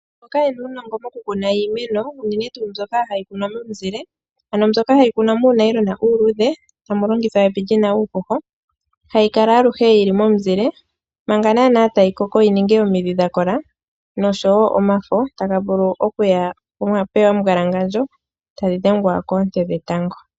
Mboka yena uunongo mokukuna iimeno uunene tu mbyoka hayi kunwa momuzile, ano mbyoka hayi kunwa muunayilona uuluudhe tamulongithwa evi lina uuhoho, hayi kala aluhe yili momuzile manga naana tayikoko yiningi omidhi dhakola nosho wo omafo tagavulu okuya poyima puna omumbwalangandjo tadhi dhengwa koonte dhetango.